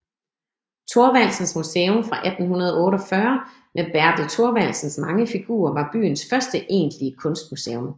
Thorvaldsens Museum fra 1848 med Bertel Thorvaldsens mange figurer var byens første egentlige kunstmuseum